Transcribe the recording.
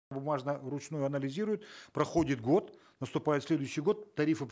бумажно вручную анализируют проходит год наступает следующий год тарифы